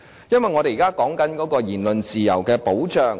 因為我們現時談論言論及辯論自由的保障。